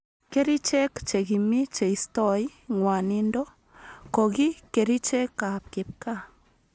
Kericheek che kimii cheistoi ngwanindo koki kerchek ab kipkaa